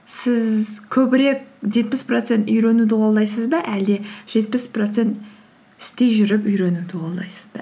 сіз көбірек жетпіс процент үйренуді қолдайсыз ба әлде жетпіс процент істей жүріп үйренуді қолдайсыз ба